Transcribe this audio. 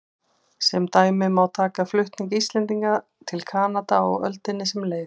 Sem dæmi má taka flutning Íslendinga til Kanada á öldinni sem leið.